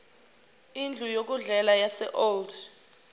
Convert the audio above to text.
indlu yokudlela yaseold